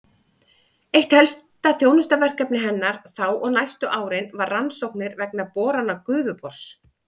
Eitt helsta þjónustuverkefni hennar þá og næstu árin var rannsóknir vegna borana Gufubors.